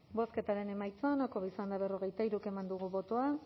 bozketaren emaitza onako izan da hirurogeita hamabost eman dugu bozka